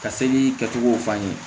Ka seli kɛcogow f'a ɲɛnɛ